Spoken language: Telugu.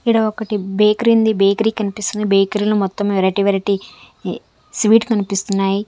ఈడ ఒకటి బేకరీ ఉంది బేకరీ కనిపిస్తుంది బేకరీ లో మొత్తం వెరైటీ వెరైటీ స్వీట్ కనిపిస్తున్నాయి.